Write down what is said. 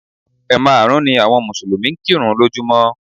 Ẹ̀ maàrún ni àwọn Mùsùlùmí ń kírun lójúmọ́